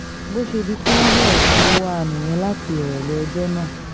bó ṣe di pé wọ́n bẹ̀rẹ̀ sí í wá a nìyẹn láti ìrọ̀lẹ́ ọjọ́ náà